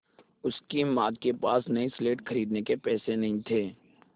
उसकी माँ के पास नई स्लेट खरीदने के पैसे नहीं थे